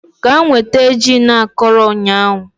Gaa nweta gin akọrọ ụnyahụ